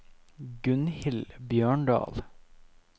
Gunhild Bjørndal